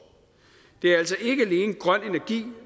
det er altså ikke alene grøn energi